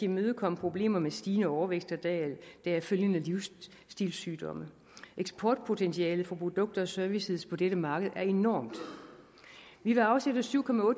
imødegå problemer med stigende overvægt og deraf følgende livsstilssygdomme eksportpotentialet for produkter og services på dette marked er enormt vi vil afsætte syv